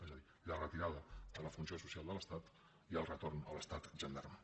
és a dir la retirada de la funció social de l’estat i el retorn a l’estat gendarme